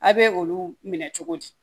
A bɛ olu minɛ cogo di